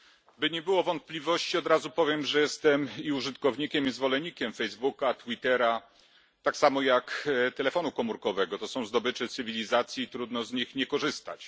Pani Przewodnicząca! Aby nie było wątpliwości od razu powiem że jestem i użytkownikiem, i zwolennikiem Facebooka, Twittera, tak samo jak telefonu komórkowego. To są zdobycze cywilizacji trudno z nich nie korzystać.